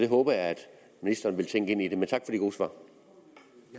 håber jeg at ministeren vil tænke ind i det men tak for